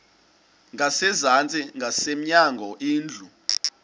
ngasezantsi ngasemnyango indlu